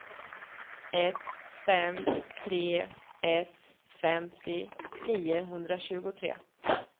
ett fem tre ett femtio niohundratjugotre